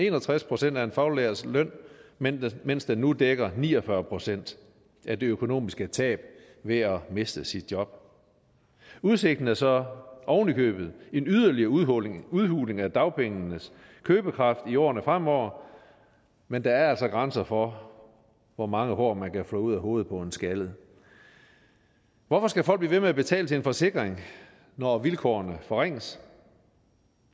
en og tres procent af en faglærts løn mens mens den nu dækker ni og fyrre procent af det økonomiske tab ved at miste sit job udsigten er så ovenikøbet en yderligere udhuling udhuling af dagpengenes købekraft i årene fremover men der er altså grænser for hvor mange hår man kan flå ud af hovedet på en skaldet hvorfor skal folk blive ved med at betale til en forsikring når vilkårene forringes